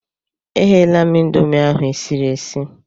Egheela m Ịndomì ahụ esiri esi.